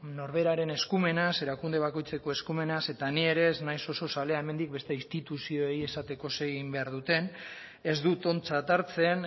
norberaren eskumenaz erakunde bakoitzeko eskumenaz eta ni ere ez naiz oso zalea hemendik beste instituzioei esateko zer egin behar duten ez dut ontzat hartzen